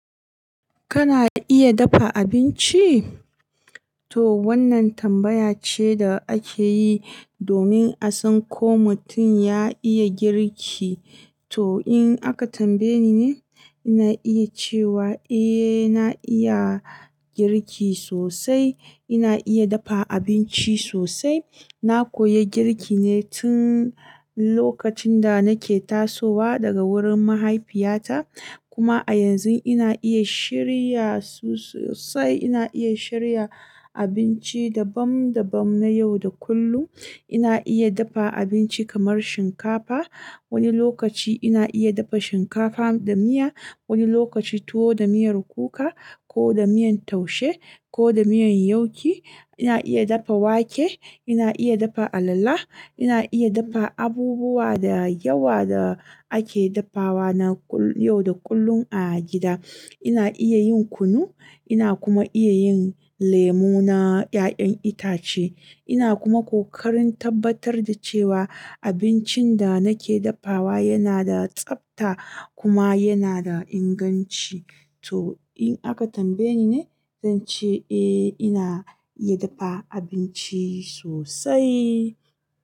Kana iya dafa abinci? To wannan tambaya ce da ake yi domin a san ko mutum ya iya girki. To in aka tambaye ni ne, ina iya cewa eh na iya girki sosai. Ina iya dafa abinci sosai. Na koyi girki ne tun lokacin da nake tasowa daga wurin mahaifiyata. Kuma a yanzu ina iya shiryasu sosai. Ina iya shirya abinci dabam dabam na yau da kullum. Ina iya dafa abinci kamar shinkafa. Wani lokaci ina iya dafa shinkafa da miya, wani lokaci tuwo da miyar kuka ko da miyan taushe ko da miyan yauki. Ina iya dafa wake, ina iya dafa alala, ina iya dafa abubuwa da yawa da ake dafawa na yau da kullum a gida. Ina iya yin kunu, ina kuma iya yin lemo na 'ya'yan itace. Ina kuma kokarin tabbatar da cewa abincin da nake dafawa yana da tsabta kuma yana da inganci. To in aka tambaye ni ne, zan ce eh ina iya dafa abinci sosai.